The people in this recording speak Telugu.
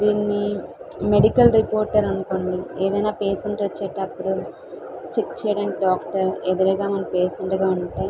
దీన్ని మెడికల్ రిపోర్ట్ అనుకోండి ఎదైన పేషెంట్ వచ్చిటపుడు చెక్ చేయడానికి డాక్టర్ ఎదురుగా మన పేషెంట్ గ ఉంటే --